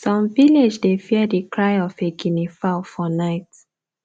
some village dey fear the cry of a guinea fowl for night